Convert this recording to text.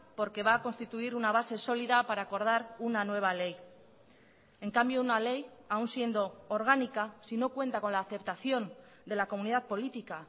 porque va a constituir una base sólida para acordar una nueva ley en cambio una ley aún siendo orgánica si no cuenta con la aceptación de la comunidad política